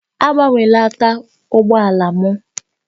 Agbanwela taị ụgbọ ala m!